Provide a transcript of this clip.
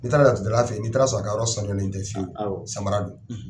N'i taara laturudala fɛ n'i taara sɔrɔ a ka yɔrɔ sanuyalen tɛ fiyewu samara don.